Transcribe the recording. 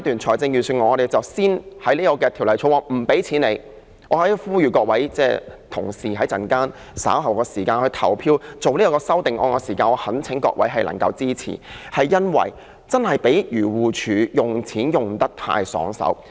在這個階段，我們先在《2019年撥款條例草案》停止向漁護署撥款，我在此呼籲各位同事，稍後就這兩項修正案投票時，我懇請各位支持，因為漁護署用錢用得太爽快。